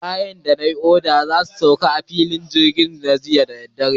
Kayana da na yi oda za su sauka a filin jirgin Minna gobe.